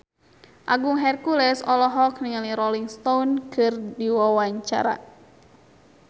Agung Hercules olohok ningali Rolling Stone keur diwawancara